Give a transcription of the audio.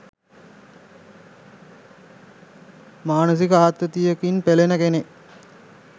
මානසික ආතතියකින් පෙළෙන කෙනෙක්